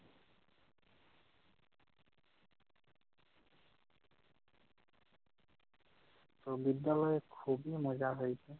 তো বিদ্যালয়ে খুবই মজা হয়েছে।